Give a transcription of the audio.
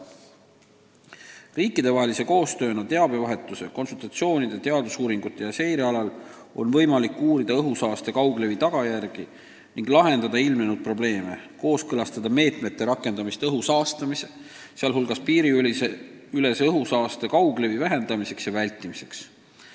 Tehes riikidevahelist koostööd teabevahetuse, konsultatsioonide, teadusuuringute ja seire näol on võimalik uurida õhusaaste kauglevi tagajärgi ning lahendada ilmnenud probleeme, kooskõlastada meetmete rakendamist õhu saastamise takistamiseks, sh piiriülese õhusaaste kauglevi vähendamiseks ja vältimiseks.